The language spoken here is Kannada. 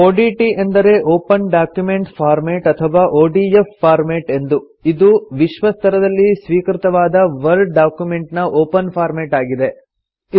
ಒಡಿಟಿ ಎಂದರೆ ಒಪನ್ ಡಾಕ್ಯುಮೆಂಟ್ ಫಾರ್ಮೆಟ್ ಅಥವಾ ಒಡಿಎಫ್ ಫಾರ್ಮೆಟ್ ಎಂದು ಇದು ವಿಶ್ವ ಸ್ತರದಲ್ಲಿ ಸ್ವೀಕೃತವಾದ ವರ್ಡ್ ಡಾಕ್ಯುಮೆಂಟ್ ನ ಒಪನ್ ಫಾರ್ಮೆಟ್ ಆಗಿದೆ